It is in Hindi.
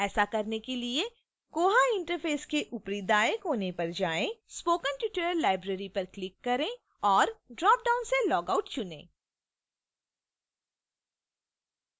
ऐसा करने के लिए koha interface के ऊपरी दाएँ कौने पर जाएँ spoken tutorial library पर click करें और dropdown से log out चुनें